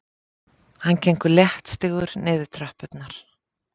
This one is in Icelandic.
Hann gengur léttstígur niður tröppurnar.